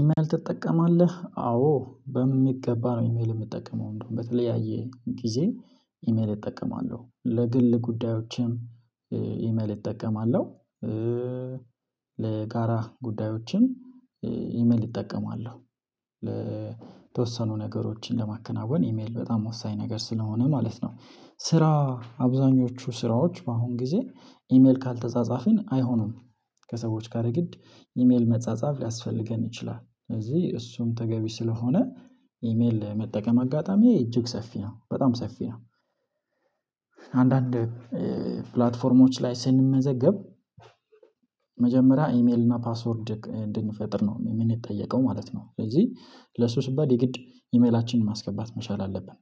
ኢሜል ትጠቀማለህ አዎ በሚገባ ነው። ኢሜል የምጠቀመው እንደውም በተለያየ ጊዜ ኢሜል እጠቀማለሁ ለግል ጉዳዮችም። ኢሜል እጠቀማለሁ። ለጋራ ጉዳዮችን። ኢሜል እጠቀማለሁ ለተወሰኑ ነገሮችን ለማከናወን ኢሜል በጣም ወሳኝ ነገር ስለሆነ ማለት ነው። ስራ አብዛኞቹ ስራዎች በአሁን ጊዜ ኢሜል ካልተጻጻፍን አይሆንም። ከሰዎች ጋር የግድ ኢሜል መጻጻፍ ሊያስፈልገን ይችላል ስለዚህ እሱም ተገቢ ስለሆነ። ኢሜል መጠቀም አጋጣሚ እጅግ ሰፊ ነው በጣም ሰፊ ነው። አንዳንድ ፕላትፎርሞች ላይ ስንመዘገብ ኢሜል እና ፓስወርድ እንድንፈጥር ነው ምን የጠየቀው ማለት ነው። ስለዚህ ለሱ ስባል የግድ ኢሜላችንን ማስገባት መቻል አለብን።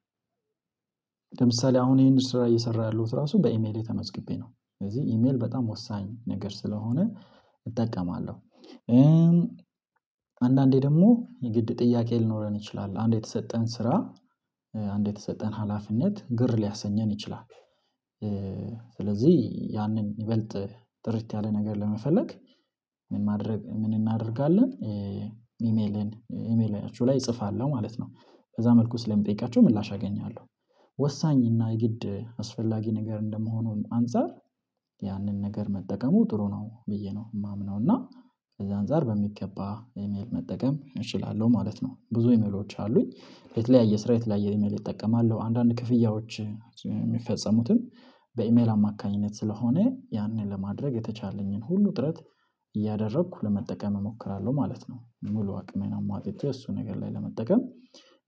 ለምሳሌ አሁን ይሄን ስራ እየሰራ ያለሁት ራሱ በኢሜል የተመዝግቤ ነው። ስለዚህ ኢሜል በጣም ወሳኝ ነገር ስለሆነ እጠቀማለሁ። አንዳንዴ ደግሞ የግድ ጥያቄ ሊኖረን ይችላል አንድ የተሰጠን ስራ አንድ የተሰጠን ሀላፊነት ግር ሊያሰኘን ይችላል። ስለዚህ ያንን ይበልጥ ጥሪት ያለ ነገር ለመፈለግ ምን ማድረግ ምን እናደርጋለን? ኢሜልን ኢሜላችሁ ላይ እጽፋለሁ ማለት ነው ከዛ መልኩ ስለምጠይቃቸው ምላሽ አገኛለሁ። ወሳኝ እና የግድ አስፈላጊ ነገር እንደመሆኑን አንፃር ያንን ነገር መጠቀሙ ጥሩ ነው ብዬ ነው የማምነው። እና ከዛ አንፃር በሚገባ ኢሜል መጠቀም እችላለሁ ማለት ነው። ብዙ ኢሜሎች አሉኝ የተለያየ ስራ የተለያየ ኢሜል ይጠቀማሉ አንዳንድ ክፍያዎች የሚፈጸሙትን በኢሜል አማካኝነት ስለሆነ ያንን ለማድረግ የተቻለኝን ሁሉ ጥረት እያደረኩ ለመጠቀም እሞክራለሁ ማለት ነው። ሙሉ አቅም አይነት ማጥቶ እሱ ነገር ላይ ለመጠቀም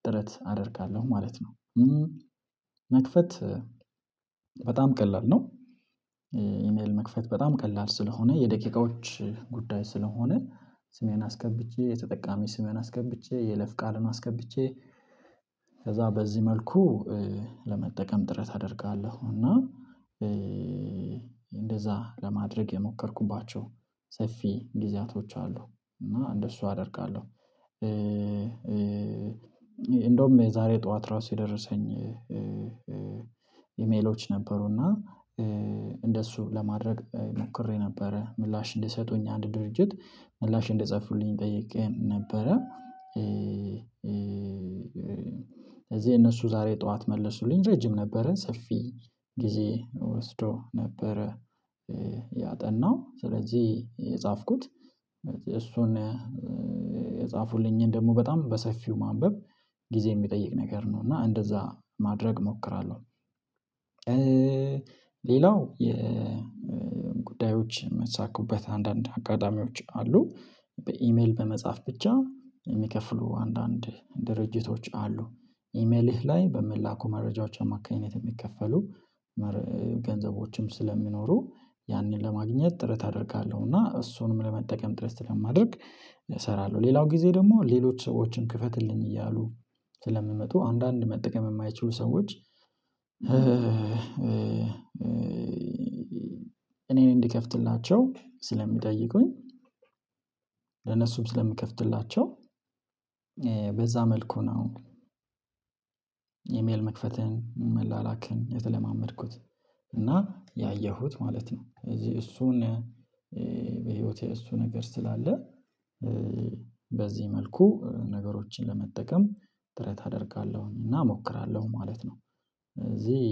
ጥረት አደርጋለሁ ማለት ነው። መክፈት በጣም ቀላል ነው። ኢሜል መክፈት በጣም ቀላል ስለሆነ የደቂቃዎች ጉዳይ ስለሆነ። ስሜን አስከብቼ የተጠቃሚ ስሜን አስከብቼ የለፍ ቃልን አስከብቼ ከዛ በዚህ መልኩ ለመጠቀም ጥረት አደርጋለሁ። እና እንደዛ ለማድረግ የሞከርኩባቸው ሰፊ ጊዜያቶች አሉ እና እንደሱ አደርጋለሁ። እንደውም የዛሬ ጠዋት ራሱ የደረሰኝ ኢሜሎች ነበሩና እንደሱ ለማድረግ ሞክሬ ነበረ ምላሽ እንድሰጡኝ አንድ ድርጅት ምላሽ እንድጽፉልኝ ጠይቄ ነበረ። እዚህ እነሱ ዛሬ ጠዋት መለሱልኝ ረጅም ነበረን ሰፊ ጊዜ ወስዶ ነበረ። ያጠናው ስለዚህ የጻፍኩት እሱን የጻፉልኝን ደግሞ በጣም በሰፊው ማንበብ ጊዜ የሚጠይቅ ነገር ነው። እና እንደዛ ማድረግ እሞክራለሁ። ሌላው የጉዳዮች የሚሳኩበት አንዳንድ አጋጣሚዎች አሉ። በኢሜል በመጻፍ ብቻ የሚከፍሉ አንዳንድ ድርጅቶች አሉ። ኢሜልህ ላይ በሚላኩ መረጃዎች ማካሄድ የሚከፈሉ ገንዘቦችም ስለሚኖሩ ያንን ለማግኘት ጥረት አደርጋለሁ እና እሱንም ለመጠቀም ድረስ ስለማደርግ እሰራለሁ። ሌላው ጊዜ ደግሞ ሌሎች ሰዎችን ክፈትልኝ እያሉ ስለምመጡ አንዳንድ መጠቀም የማይችሉ ሰዎች። እኔን እንዲከፍትላቸው ስለሚጠይቁኝ ለነሱም ስለሚከፍትላቸው በዛ መልኩ ነው። አሁን ኢሜል መክፈትህን መላላክህን የተለማመድኩት እና ያየሁት ማለት ነው። እዚህ እሱን እሱ ነገር ስላለ በዚህ መልኩ ነገሮችን ለመጠቀም ጥረት አደርጋለሁኝ እና እሞክራለሁ ማለት ነው። እዚህ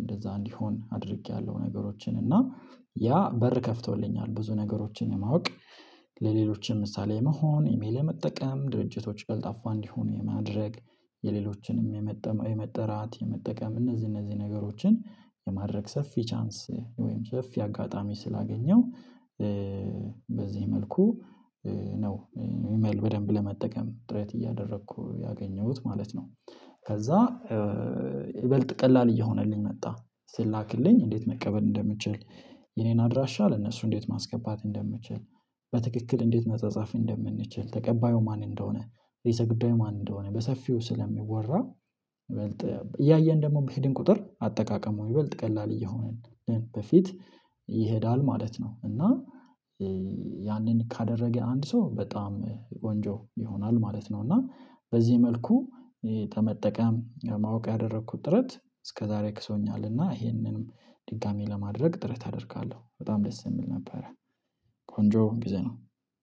እንደዛ እንዲሆን አድርጌያለሁ ነገሮችን እና ያ በር ከፍተውልኛል ብዙ ነገሮችን ለማወቅ። ለሌሎችም ምሳሌ መሆን ኢሜል ለመጠቀም ድርጅቶች ቀልጣፋ እንዲሆኑ የማድረግ የሌሎችንም የመጠቀም የመጠራት የመጠቀም እነዚህ እነዚህ ነገሮችን የማድረግ ሰፊ ቻንስ ወይም ሰፊ አጋጣሚ ስላገኘው። በዚህ መልኩ ነው ኢሜል በደንብ ለመጠቀም ጥረት እያደረኩ ያገኘሁት ማለት ነው። ከዛ ይበልጥ ቀላል እየሆነልኝ መጣ ሲላክልኝ እንዴት መቀበል እንደምንችል የኔን አድራሻ ለነሱ እንዴት ማስገባት እንደምንችል? በትክክል እንዴት መጸጸፍ እንደምንችል ተቀባዩ ማን እንደሆነ? ረሰ ጉዳይ ምን እንደሆነ በሰፊው ስለሚወራ። ይበልጥ እያየን ደግሞ በሄድን ቁጥር አጠቃቀሙ ይበልጥ ቀላል እየሆንን በፊት ይሄዳል ማለት ነው። እና ያንን ካደረገ አንድ ሰው በጣም ቆንጆ ይሆናል ማለት ነው። እና በዚህ መልኩ ተመጠቀም ማወቅ ያደረኩት ጥረት እስከዛሬ ክሶኛል እና ይሄንንም ድጋሚ ለማድረግ ጥረት አደርጋለሁ በጣም ደስ የምል ነበረ። ቆንጆ ጊዜ ነው።